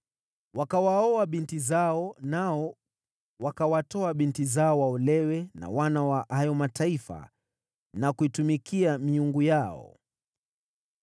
Wakawaoa binti zao, nao wakawatoa binti zao waolewe na wana wa hayo mataifa, na kuitumikia miungu yao.